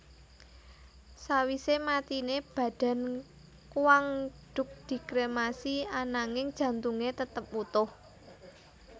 Sawise matiné badan Quang Duc dikremasi ananging jantungé tetap wutuh